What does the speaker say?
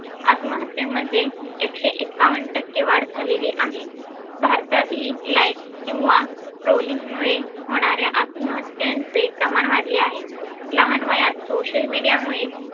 अत्महत्येमध्ये एकशे एक्कावन टक्के वाढ झालेली आहे. भारतातील life किंवा trolling मुळे होणाऱ्या अत्महत्यांचे प्रमाण वाढले आहे. लहान वयात social media मुळे